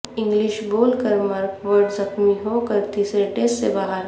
English bowler Mark Wood زخمی ہو کر تیسرے ٹیسٹ سے باہر